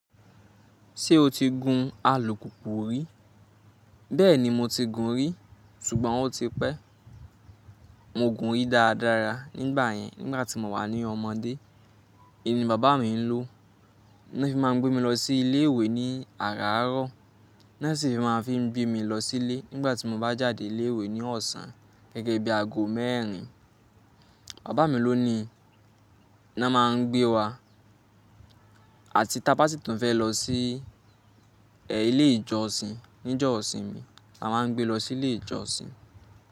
Ṣé o ti gun alùpùpù rí? Bẹ́ẹ̀ni mo ti gun rí, ṣùgbọ́n ó ti pẹ́. Mo gùn ún rí dáadáa nígbà yẹn nígbà tí mo wà ní ọmọdé. Èyí ni bàbá mi ń lò ní ó fi máa gbé mi lọ sí ilé ìwé ní àràárọ̀, náà sì fi máa gbé mi lọ sílé nígbà tí mo bá jáde ilé ìwé ní ọ̀sán gẹ́gẹ́ bí aago mẹ́rin. Bàbá mi ló ni náà máa gbé wa àti táa ba sí tàn fẹ́ lọ sí ẹ̀ ilé ìjọsìn níjọ́ ìsinmi, a máa gbé lọ sí ilé ìjọsìn.